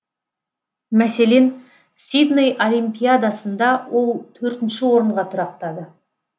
мәселен сидней олимпиадасында ол төртінші орынға тұрақтады